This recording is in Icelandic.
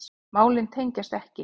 Málin tengjast ekki.